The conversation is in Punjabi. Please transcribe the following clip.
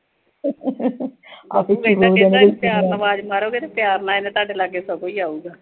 ਜੇ ਪਿਆਰ ਨਾਲ ਆਵਾਜ਼ ਮਾਰੋ ਗੇ ਨਾ ਪਿਆਰ ਨਾਲ, ਇਹ ਨਾ ਤੁਹਾਡੇ ਲਾਗੇ, ਖੁਦ ਈ ਆਊਗਾ।